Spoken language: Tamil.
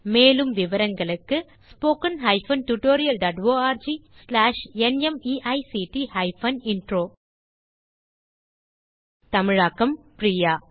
மேலும் விவரங்களுக்கு spoken hyphen tutorial dot org slash நிமைக்ட் ஹைபன் இன்ட்ரோ தமிழாக்கம் பிரியா